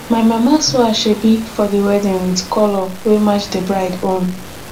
my mama sew asoebi for di wedding wit colour wey match di bride own